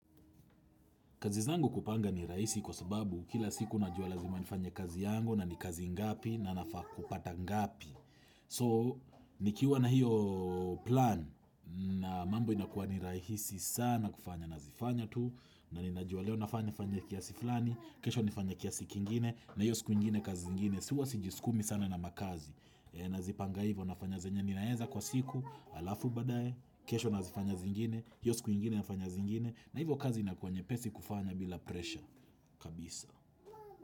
Kazi zangu kupanga ni rahisi kwa sababu kila siku najua lazima nifanye kazi yangu na ni kazi ngapi na nafaa kupata ngapi. So, nikiwa na hiyo plan na mambo inakuwa ni raisi sana kufanya na zifanya tu na nina juwa leo nafanya kiasi flani, kesho nifanya kiasi kingine na hiyo siku ingine kazi zingine. Huwa sijiskumi sana na makazi Nazipanga hivyo nafanya zenye Ninaeza kwa siku, alafu badae kesho nazifanya zingine hiyo siku ingine nafanya zingine na hivyo kazi inakuwa nyepesi kufanya bila presha kabisa.